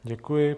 Děkuji.